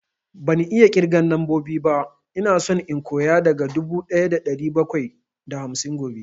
Ban iya ƙirgan lambobi ba, ina so in koya daga dubu ɗaya da ɗari bakwai da hamsin gobe